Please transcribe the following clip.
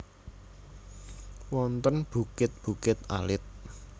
Wonten bukit bukit alit